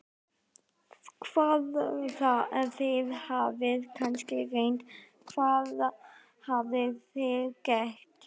Hvað, þið hafið kannski reynt, hvað hafið þið gert?